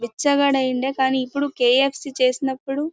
బిచ్చగాడై ఉండే కానీ ఇప్పుడు కెఏఫ్సి చేసినప్పుడు--